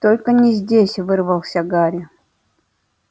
только не здесь вырвался гарри